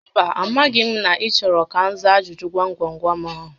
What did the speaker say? Mba, a maghị m na ị chọrọ ka m za ajụjụ gwam gwam gwam ahụ